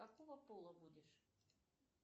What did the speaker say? какого пола будешь